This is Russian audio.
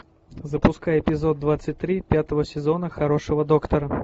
запускай эпизод двадцать три пятого сезона хорошего доктора